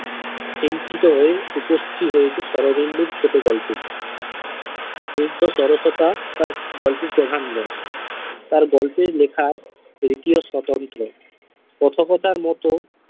সঞ্চিত হয়ে উপস্থিত হয়েছে শরদিন্দুর ছোটগল্পে স্নিগ্ধ সরস্বতা তার গল্পের প্রধান রস তার গল্পের লেখার রীতিও স্বতন্ত্র কথকথার মত।